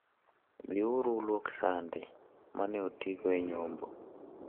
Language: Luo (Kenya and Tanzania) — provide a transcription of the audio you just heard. Dhi uru ulwok sande ma ne otigo e nyombo.